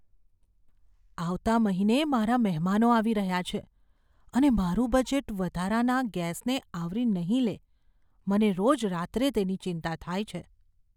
આવતા મહિને મારા મહેમાનો આવી રહ્યા છે અને મારું બજેટ વધારાના ગેસને આવરી નહીં લે. મને રોજ રાત્રે તેની ચિંતા થાય છે.